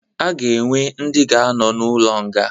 Aga ga-enwe ndi ga anọ na ụlo nga